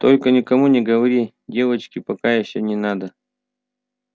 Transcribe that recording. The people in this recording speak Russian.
только никому не говорите девочки пока ещё не надо